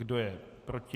Kdo je proti?